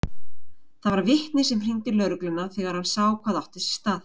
Það var vitni sem hringdi í lögregluna þegar hann sá hvað átti sér stað.